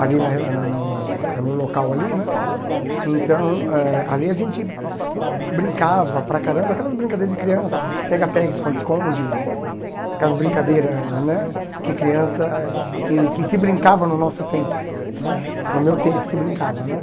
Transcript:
ali na no no no no é no local ali né, então eh ali a gente brincava para caramba, aquelas brincadeiras de criança, pega-pega, esconde-esconde, aquelas brincadeiras né que criança, que que se brincava no nosso tempo né, no meu tempo que se brincava né.